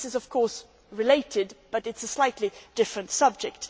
This is, of course, related, but is a slightly different subject.